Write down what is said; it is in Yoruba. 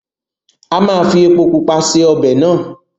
a ma fi epo-pupa se ọbẹ̀ náà.